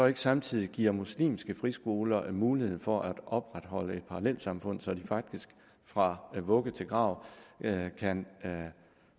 ikke samtidig giver muslimske friskoler mulighed for at opretholde et parallelsamfund så de faktisk fra vugge til grav kan